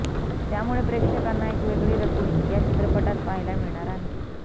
त्यामुळे प्रेक्षकांना एक वेगळी रकुल या चित्रपटात पाहायला मिळणार आहे